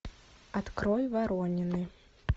открой воронины